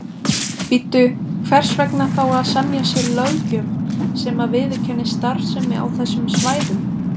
Bíddu, hvers vegna þá að semja sér löggjöf sem að viðurkennir starfsemi á þessum svæðum?